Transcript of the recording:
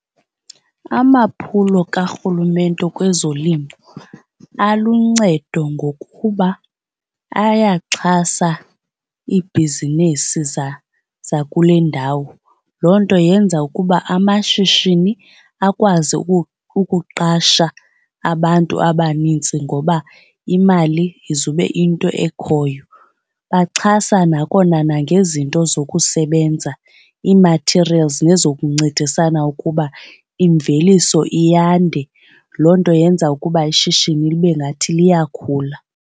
Amaphulo kaRhulumente kwezolimo aluncedo ngokuba ayaxhasa ibhizinesi zakule ndawo. Loo nto yenza ukuba amashishini akwazi ukuqasha abantu abanintsi ngoba imali izube into ekhoyo. Baxhasa nakona nangezinto zokusebenza ii-material nezokuncedisana ukuba imveliso iyanda loo nto yenza ukuba ishishini libe ngathi liyakhula.